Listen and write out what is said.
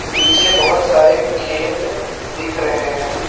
नीचे बहोत सारे खेत दिख रहे है।